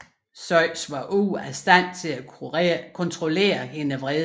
Zeus var ude af stand til at kontrollere hendes vrede